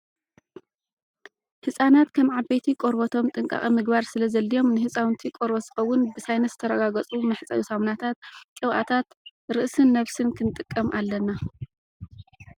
ህፃናት ከም ዓበይቲ ቆርበቶም ጥንቃቀ ምግባር ስለ ዘድልዮም ንህፃውንቲ ቆርበት ዝኸውን ብሳይንስ ዝተረጋገፁ መሕፀቢ ሳሙናታት፣ ቅብዓታት ርእስን ነብስን ክንጥቀም ኣለና።